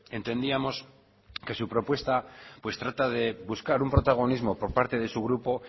entendíamos que su propuesta pues trata de buscar un protagonismo por parte de su grupo